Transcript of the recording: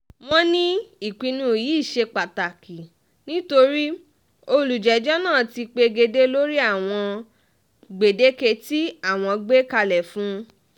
wọ́n ní ìpinnu yìí ṣe pàtàkì nítorí olùjẹ́jọ́ náà ti pegedé lórí àwọn gbèdéke tí àwọn gbé kalẹ̀ fún un